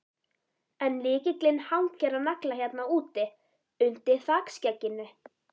En lykillinn hangir á nagla hérna úti, undir þakskegginu.